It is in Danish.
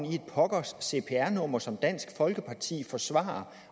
i et pokkers cpr nummer som dansk folkeparti forsvarer